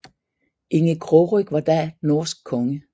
Inge Krogryg var da norsk konge